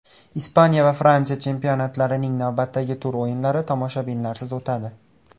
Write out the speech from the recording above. Ispaniya va Fransiya chempionatlarining navbatdagi tur o‘yinlari tomoshabinlarsiz o‘tadi .